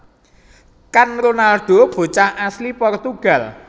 Kan Ronaldo bocah asli Portugal